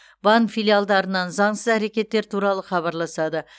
банк филиалдарынан заңсыз әрекеттер туралы хабарласады